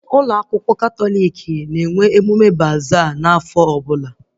Ụlọ akwụkwọ Katọlik na-enwe emume baza n'afọ ọbụla